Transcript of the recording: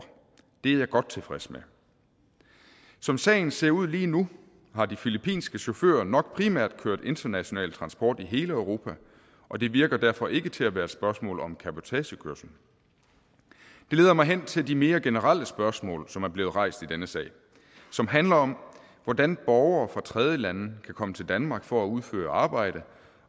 det er jeg godt tilfreds med som sagen ser ud lige nu har de filippinske chauffører nok primært kørt international transport i hele europa og det virker derfor ikke til at være et spørgsmål om cabotagekørsel det leder mig hen til de mere generelle spørgsmål som er blevet rejst i denne sag og som handler om hvordan borgere fra tredjelande kan komme til danmark for at udføre arbejde